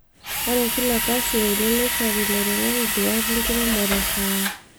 Ore kila kasi e uni, neishori lairemok nduaat enkiremore e kaawa